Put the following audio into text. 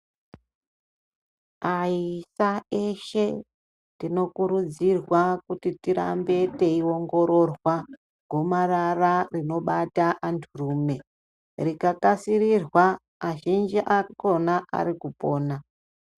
Ayisa eshe tinokurudzirwa kuti tirambe teiongororwa gomarara rinobata antu rume , rikakasirirwa azhinji akona arikupona